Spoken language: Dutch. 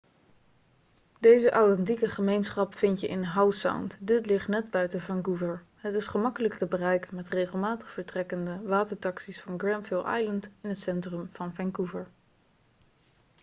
deze authentieke gemeenschap vind je in howe sound dit ligt net buiten vancouver het is gemakkelijk te bereiken met regelmatig vertrekkende watertaxi's van granville island in het centrum van vancouver